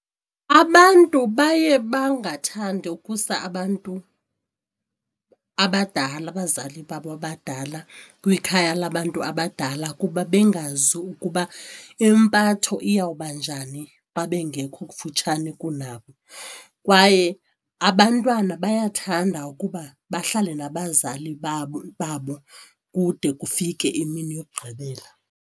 Abantu baye bangathandi ukusa abantu abadala abazali babo abadala kwikhaya labantu abadala kuba bengazi ukuba impatho iyawubanjani xa bengekho kufutshane kunabo kwaye abantwana bayathanda ukuba bahlale nabazali babo babo kude kufike imini yokugqibela.